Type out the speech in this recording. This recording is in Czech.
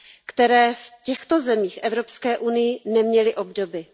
které v těchto zemích Evropské unie neměly obdoby.